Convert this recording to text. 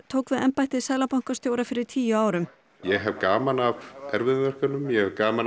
tók við embætti seðlabankastjóra fyrir tíu árum ég hef gaman af erfiðum verkefnum ég hef gaman af